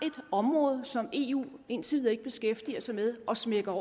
et område som eu indtil videre ikke beskæftiger sig med og smækker